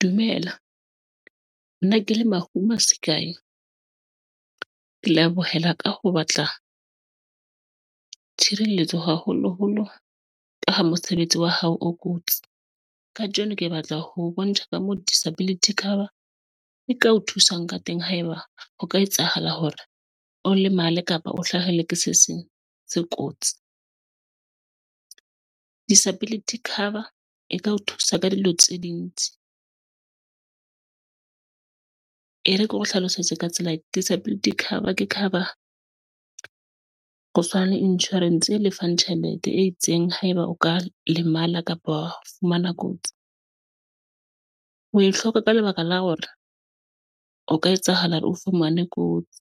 Dumela nna ke le Mahume Sekae, ke lebohela ka ho batla tshireletso, haholoholo ka ha mosebetsi wa hao o kotsi. Kajeno ke batla ho bontsha ka mo disability cover e ka o thusang ka teng, haeba ho ka etsahala hore o lemale kapa o hlahelwe ke se seng se kotsi. Disability cover e ka o thusa ka dilo tse ding tse ding. E re ke o hlalosetse ka tsela e disability cover ke cover ho tshwana le insurance e lefang tjhelete e itseng. Haeba o ka lemala kapa wa fumana kotsi, wa e hloka ka lebaka la hore na o ka etsahala o fumane kotsi.